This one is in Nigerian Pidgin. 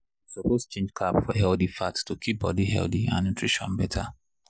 you suppose change carb for healthy fat to keep body healthy and nutrition better.